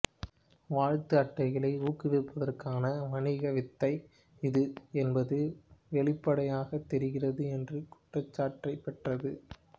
வாழ்த்து அட்டைகளை ஊக்குவிப்பதற்கான வணிக வித்தை இது என்பது வெளிப்படையாகத் தெரிகிறது என்ற குற்றச்சாட்டைப் பெற்றது